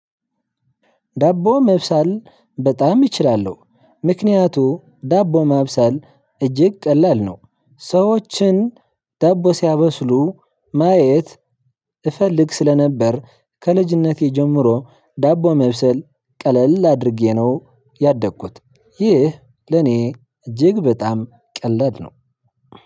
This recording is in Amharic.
ዳቦ መብሰል በጣም እችላለው ምክንያቱ ዳቦ ማብሰል እጅግ ቀላል ነው። ሰዎችን ዳቦ ሲያበስሉ ማየት እፈልግ ስለነበር ከልጅነቴ ጀምሮ ዳቦ መብሰል ቀለል አድርጌ ነው ያደግኩት። ይህ ለኔ እጅግ በጣም ቀለድ ነው።